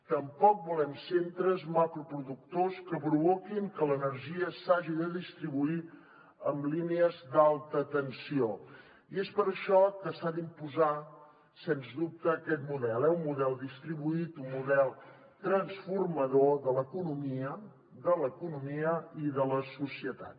tampoc volem centres macroproductors que provoquin que l’energia s’hagi de distribuir en línies d’alta tensió i és per això que s’ha d’imposar sens dubte aquest model eh un model distribuït un model transformador de l’economia i de la societat